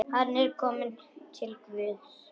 Hann er kominn til Guðs.